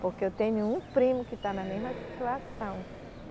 Porque eu tenho um primo que está na mesma situação.